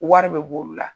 Wari bɛ bɔ olu la